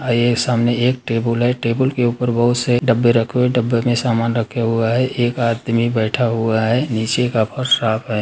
आइए सामने एक टेबुल है। टेबुल के ऊपर बहुत से डब्बे रखे हुए है। डब्बे में समान रखे हुआ है। एक आदमी बैठ हुआ है निचे का फर्स साफ है।